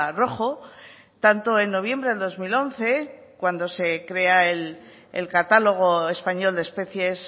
rojo tanto en noviembre del dos mil once cuando se crea el catalogo español de especies